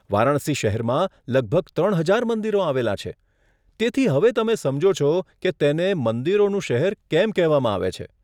વારાણસી શહેરમાં લગભગ ત્રણ હજાર મંદિરો આવેલા છે, તેથી હવે તમે સમજો છો કે તેને 'મંદિરોનું શહેર' કેમ કહેવામાં આવે છે.